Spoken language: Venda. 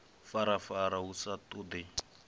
farafara hu sa ṱoḓei uho